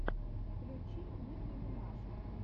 включи ники минаж